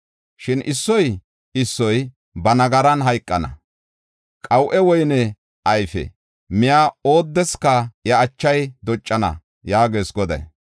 Shin issoy issoy ba nagaran hayqana; qaw7e woyne ayfe miya oodeska iya achay doccana” yaagees Goday.